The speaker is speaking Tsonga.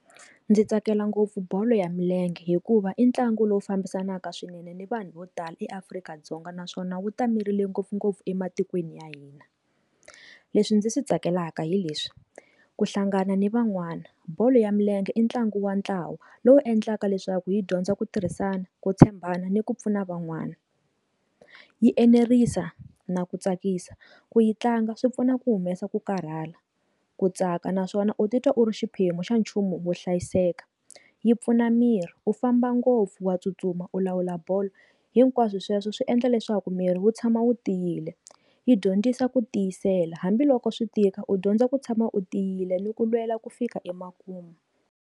Ndzi tsakela ngopfu bolo ya milenge hikuva i ntlangu lowu fambisanaka swinene ni vanhu vo tala eAfrika-Dzonga naswona wu ta merile ngopfungopfu ematikweni ya hina. Leswi ndzi swi tsakelaka hileswi, ku hlangana ni van'wana bolo ya milenge i ntlangu wa ntlawa lowu endlaka leswaku yi dyondza ku tirhisana ku tshembana ni ku pfuna van'wani yi enerisa na ku tsakisa ku yi tlanga swi pfuna ku humesa ku karhala ku tsaka naswona u titwa u ri xiphemu xa nchumu wo hlayiseka yi pfuna miri u famba ngopfu wa tsutsuma u lawula bolo hinkwaswo sweswo swi endla leswaku miri wu tshama wu tiyile yi dyondzisa ku tiyisela hambiloko swi tika u dyondza ku tshama u tiyile ni ku lwela ku fika emakumu.